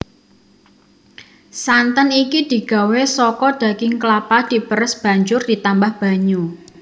Santen iki digawé saka daging klapa diperes banjur ditambah banyu